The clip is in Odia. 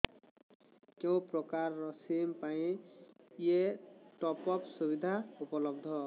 କେଉଁ ପ୍ରକାର ସିମ୍ ପାଇଁ ଏଇ ଟପ୍ଅପ୍ ସୁବିଧା ଉପଲବ୍ଧ